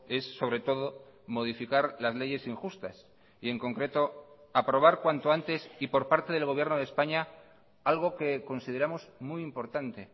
es sobre todo modificar las leyes injustas y en concreto aprobar cuanto antes y por parte del gobierno de españa algo que consideramos muy importante